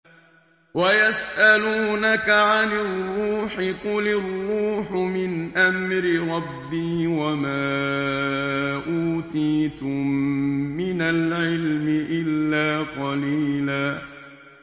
وَيَسْأَلُونَكَ عَنِ الرُّوحِ ۖ قُلِ الرُّوحُ مِنْ أَمْرِ رَبِّي وَمَا أُوتِيتُم مِّنَ الْعِلْمِ إِلَّا قَلِيلًا